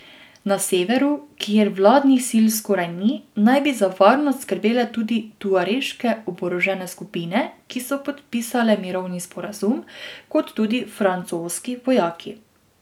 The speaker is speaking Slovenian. Na severu, kjer vladnih sil skoraj ni, naj bi za varnost skrbele tudi tuareške oborožene skupine, ki so podpisale mirovni sporazum, kot tudi francoski vojaki.